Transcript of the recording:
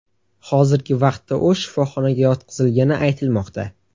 Hozirgi vaqtda u shifoxonaga yotqizilgani aytilmoqda.